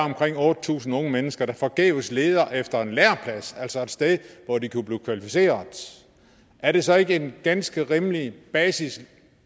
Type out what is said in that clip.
omkring otte tusind unge mennesker der forgæves leder efter en læreplads altså et sted hvor de kunne blive kvalificerede er det så ikke et ganske rimeligt basiskrav